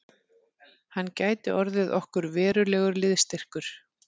Hann gæti orðið okkur verulegur liðsstyrkur